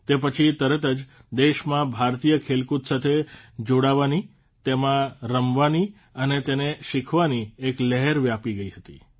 તે પછી તરત જ દેશમાં ભારતીય ખેલકૂદ સાથે જોડાવાની તેમાં રમવાની અને તેને શીખવાની એક લહેર વ્યાપી ગઇ હતી